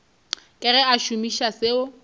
ka ge a šomiša seo